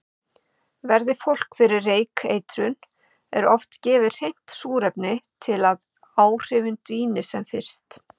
Verði fólk fyrir reykeitrun er oft gefið hreint súrefni til að áhrifin dvíni sem fyrst.